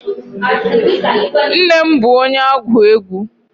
Nne m bụ onye agwu egwu.